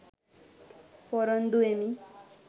පොරොන්දු වෙමි